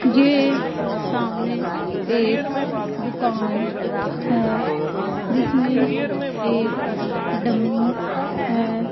ये सामने एक दुकान है जिसमें एक डमी है।